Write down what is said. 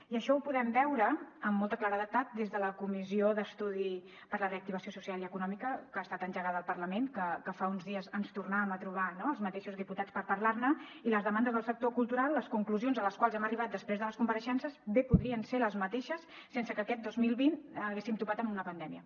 i això ho podem veure amb molta claredat des de la comissió d’estudi de la reactivació social i econòmica que ha estat engegada al parlament que fa uns dies ens tornàvem a trobar no els mateixos diputats per parlar ne i les demandes del sector cultural les conclusions a les quals hem arribat després de les compareixences bé podrien ser les mateixes sense que aquest dos mil vint haguéssim topat amb una pandèmia